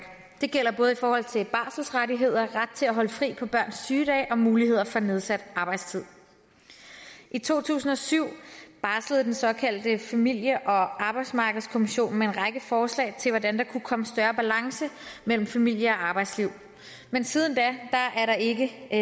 det gælder både i forhold til barselsrettigheder ret til at holde fri på børns sygedage og mulighed for nedsat arbejdstid i to tusind og syv barslede den såkaldte familie og arbejdsmarkedskommission med en række forslag til hvordan der kunne komme større balance mellem familie og arbejdsliv men siden da er der ikke